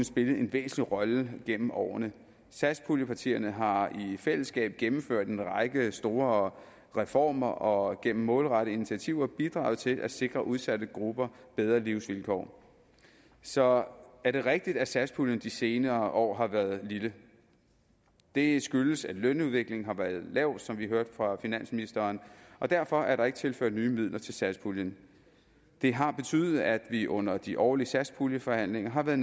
spillet en væsentlig rolle gennem årene satspuljepartierne har i fællesskab gennemført en række store reformer og gennem målrettede initiativer bidraget til at sikre udsatte grupper bedre livsvilkår så er det rigtigt at satspuljen de senere år har været lille det skyldes at lønudviklingen har været lav som vi hørte fra finansministeren og derfor er der ikke tilført nye midler til satspuljen det har betydet at vi under de årlige satspuljeforhandlinger har været